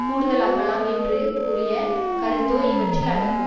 கூடுதலாக்கலாம் என்று கூறிய கருத்தோ இவற்றில் அடங்கும்